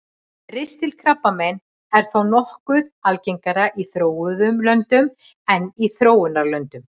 ristilkrabbamein er þó nokkuð algengara í þróuðum löndum en í þróunarlöndum